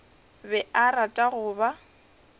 be a rata go ba